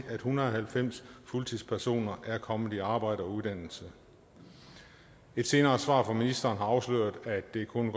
hundrede og halvfems fuldtidspersoner er kommet i arbejde og uddannelse et senere svar fra ministeren har afsløret at det kun